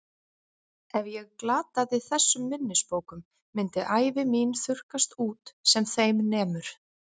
Ef ég glataði þessum minnisbókum myndi ævi mín þurrkast út sem þeim nemur.